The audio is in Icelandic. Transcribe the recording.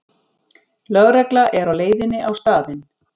Lögregla er á leiðinni á staðinn